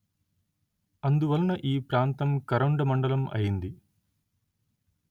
అందువలన ఈ ప్రాంతం కరొండ మండలం అయింది